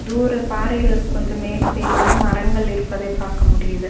தூர பாறைகள் கொஞ்ச மேல் சைடு வந்து மரங்கள் இருப்பதை பாக்க முடியிது.